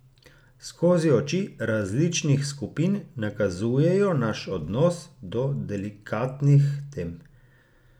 Skozi oči različnih skupin nakazujejo naš odnos do delikatnih tem.